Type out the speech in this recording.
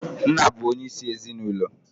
Nna bụ onyeisi ezinụlọ